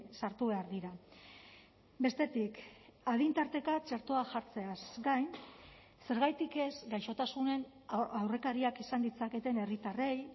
sartu behar dira bestetik adin tarteka txertoa jartzeaz gain zergatik ez gaixotasunen aurrekariak izan ditzaketen herritarrei